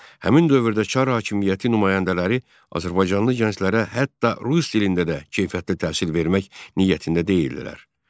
Həmin dövrdə çar hakimiyyəti nümayəndələri azərbaycanlı gənclərə hətta rus dilində də keyfiyyətli təhsil vermək niyyətində deyildilər.